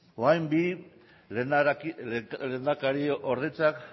orain bi lehendakariordeak